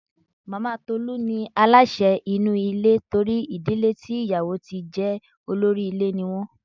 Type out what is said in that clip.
Màmá Tolú ní aláṣẹ inú ilé torí ìdílé tí ìyàwó tí jẹ olórí ilé ní wọ́n.